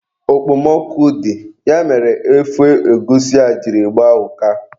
Okpomọkụ dị, ya mere ofe egwusi a jiri gbaa ụka.